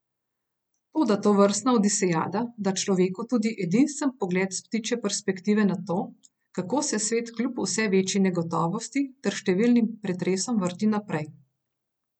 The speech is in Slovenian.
Toda tovrstna odisejada da človeku tudi edinstven pogled s ptičje perspektive na to, kako se svet kljub vse večji negotovosti ter številnim pretresom vrti naprej.